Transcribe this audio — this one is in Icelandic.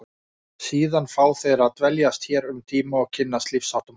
Síðan fá þeir að dveljast hér um tíma og kynnast lífsháttum okkar.